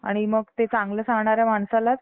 आणि मग ते चांगलं सांगणाऱ्या माणसाला त्यालाच